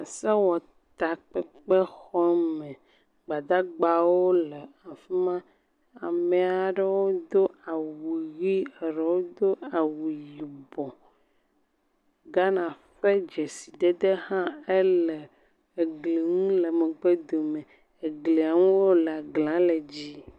Sewɔtakpekpexɔɔme, Gbadagbawo le afi ma. Ame aɖewodo awu ʋi, erewo do awu yibɔ. Ghana ƒe dzesidede hã ele egli ŋu le megbedome. Eglia ŋu wólea, glia le dzɛ̃.